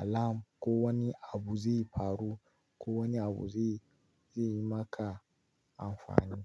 alam ko wani abu zai faru ko wani abu zai, zai yi maka amfani.